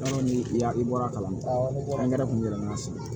ni ya i bɔra kalan kun yɛlɛmana sisan